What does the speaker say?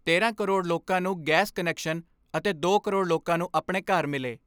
ਤੇਰਾਂ ਕਰੋੜ ਲੋਕਾਂ ਨੂੰ ਗੈਸ ਕੁਨੈਕਸ਼ਨ ਅਤੇ ਦੋ ਕਰੋੜ ਲੋਕਾਂ ਨੂੰ ਆਪਣੇ ਘਰ ਮਿਲੇ।